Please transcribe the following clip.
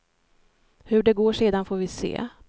Hur det går sedan får vi se.